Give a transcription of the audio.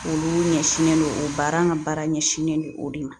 Olu ɲɛsinnen don o baara an ka baara ɲɛsinnen don o de ma